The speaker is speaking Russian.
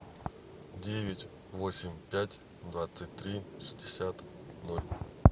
девять восемь пять двадцать три шестьдесят ноль